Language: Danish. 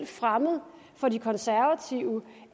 fremmed for de konservative